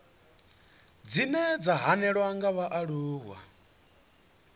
dzine dza hanelelwa nga vhaaluwa